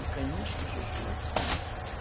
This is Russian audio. и конечно же желательно